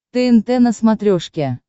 тнт на смотрешке